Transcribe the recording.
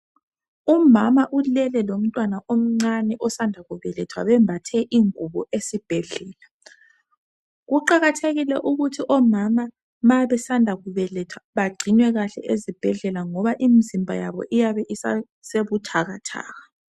Umama ulele lomntwana omncane osanda kubelethwa, bembathe ingubo esibhedlela. Kuqakathekile ukuthi omama ma besanda kubeletha, bagcinwe kahle ezibhedlela, ngoba imizimba yabo iyabe isesebuthakathaka.